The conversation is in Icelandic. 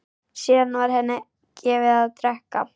Síðan var henni gefið að drekka.